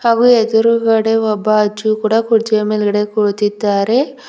ಹಾಗೂ ಎದುರುಗಡೆ ಒಬ್ಬ ಅಜ್ಜಿಯು ಕುರ್ಚಿಯ ಮೇಲ್ಗಡೆ ಕುಳಿತಿದ್ದಾರೆ.